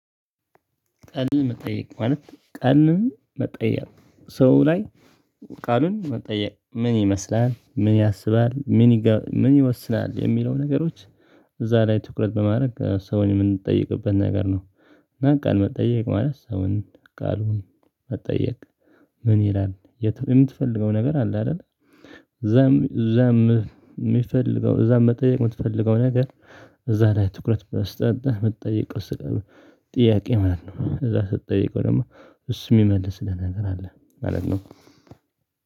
ቀን መጠየቅ ማለት ቀን መጠየቅ ሰው ላይ ቃሉን መጠየቅ ምን ይመስላል ምን ያስባል ምን ምን ይወስናል የሚለው ነገሮች። እዛ ላይ ትኩረት በማድረግ ሰውን የምንጠይቅበት ነገር ነው። እና ቃለ መጠየቅ ማለት ሰውን ቃሉን መጠየቅ። ምን ይላል የምትፈልገው ነገር አለ አይደል? እዛም እዛም የሚፈልገው እዛም መጠየቅ የምትፈልገው ነገር። እዛ ላይ ትኩረት መስጠት የምትጠይቀው ስቃይ ጥያቄ ማለት ነው። እዛ ስትጠይቀው ደግሞ እሱ የሚመልስ ነገር አለ ማለት ነው።